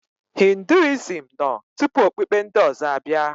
Hinduism nọ tupu okpukpe ndị ọzọ abịa.